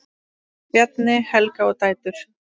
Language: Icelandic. Bjarni, Helga og dætur.